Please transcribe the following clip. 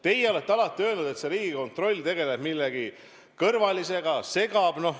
Teie olete alati öelnud, et see Riigikontroll tegeleb millegi kõrvalisega, segab.